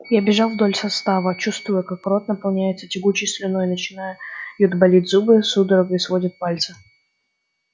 я бежал вдоль состава чувствуя как рот наполняется тягучей слюной начинают болеть зубы судорогой сводит пальцы